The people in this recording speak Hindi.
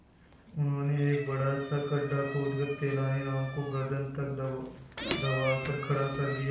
उन्होंने एक बड़ा सा गड्ढा खोदकर तेलानी राम को गर्दन तक दबाकर खड़ा कर दिया